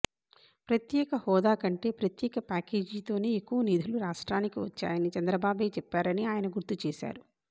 ప్రత్యేక హోదా కంటే ప్రత్యేక ప్యాకేజీతోనే ఎక్కువ నిధులు రాష్ట్రానికి వచ్చాయని చంద్రబాబే చెప్పారని ఆయన గుర్తు చేశారు